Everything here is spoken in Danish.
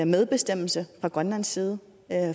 medbestemmelse fra grønlands side